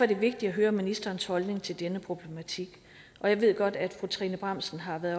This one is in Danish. det vigtigt at høre ministerens holdning til denne problematik og jeg ved godt at fru trine bramsen har været